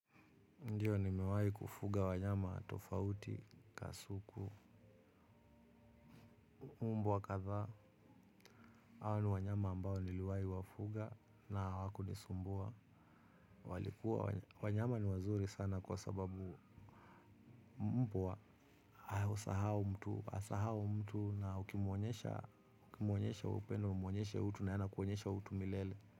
Ndiyo, nimewai kufuga wanyama tofauti, kasuku, umbo wa kadha. Hawa ni wanyama ambao niliwai wafuga na hawakunisumbua. Walikuwa wanyama ni wazuri sana kwa sababu mbo wa usahao mtu. Asahau mtu na ukimwonyesha upendo, umuonyesha utu na ye anakuonyesha utu milele.